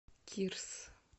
кирс